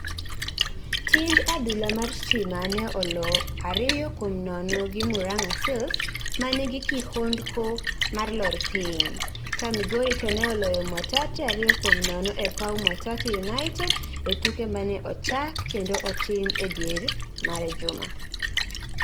Timb adhula mar Stima ne olo ariyo kuom nono gi Muranga Seals ma nigi kihondko mar lor piny, ka Migori to ne oloyo Mwatate ariyo kuom nono e paw Mwatate United e tuke mane ochak kendo otim e diere mar juma.